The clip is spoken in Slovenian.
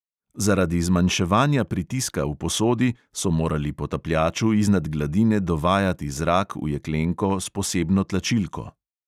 Zaradi zmanjševanja pritiska v posodi so morali potapljaču iznad gladine dovajati zrak v jeklenko s posebno tlačilko.